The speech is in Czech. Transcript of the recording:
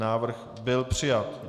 Návrh byl přijat.